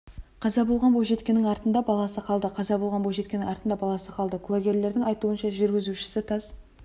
қаза болған бойжеткеннің артында баласы қалды қаза болған бойжеткеннің артында баласы қалды куәгерлердің айтуынша жүргізушісі тас